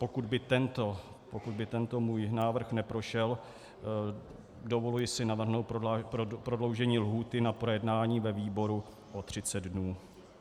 Pokud by tento můj návrh neprošel, dovoluji si navrhnout prodloužení lhůty na projednání ve výboru o 30 dnů.